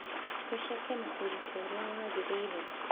ũceke na ũritũ ũrĩa wagĩrĩire